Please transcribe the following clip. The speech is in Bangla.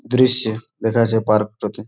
দৃশ্যে দেখা যাচ্ছে পার্ক টাতে --